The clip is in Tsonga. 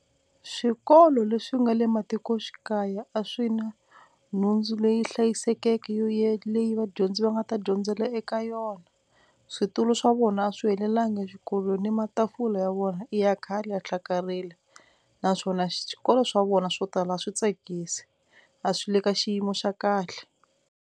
Swikolo leswi nga le matikoxikaya a swi na nhundzu leyi hlayisekeke yo ye leyi vadyondzi va nga ta dyondzela eka yona, switulu swa vona a swi helelanga exikolweni ni matafula ya vona i ya khale ya hlakarile naswona xikolo swa vona swo tala a swi tsakisi a swi le ka xiyimo xa kahle.